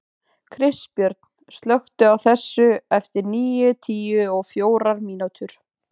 Kristbjörn, slökktu á þessu eftir níutíu og fjórar mínútur.